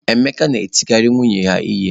Emeka na-etikarị nwunye ya ihe